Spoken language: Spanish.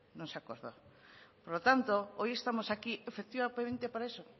por lo tanto hoy estamos aquí efectivamente para eso